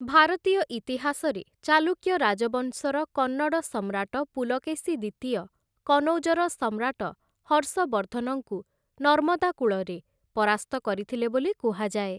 ଭାରତୀୟ ଇତିହାସରେ, ଚାଲୁକ୍ୟ ରାଜବଂଶର କନ୍ନଡ଼ ସମ୍ରାଟ ପୁଲକେଶୀ ଦ୍ୱିତୀୟ, କନୌଜର ସମ୍ରାଟ ହର୍ଷବର୍ଦ୍ଧନଙ୍କୁ ନର୍ମଦା କୂଳରେ ପରାସ୍ତ କରିଥିଲେ ବୋଲି କୁହାଯାଏ ।